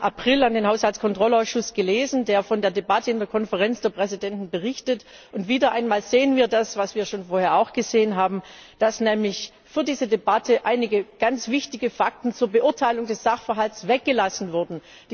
11. April an den Haushaltskontrollausschuss, der von der Debatte in der Konferenz der Präsidenten berichtet, gelesen haben. Wieder einmal sehen wir das, was wir schon vorher gesehen haben, dass nämlich für diese Debatte einige ganz wichtige Fakten zur Beurteilung des Sachverhalts weggelassen wurden.